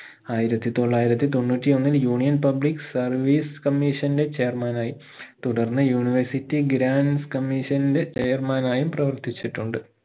ആയിരത്തി തൊള്ളായിരത്തി തൊണ്ണൂറ്റിയൊന്നിൽ union public service commission ന്റെ chairman ആയി തുടർന്ന് university grants commission ന്റെ chairman ആയും പ്രവർത്തിച്ചിട്ടുണ്ട്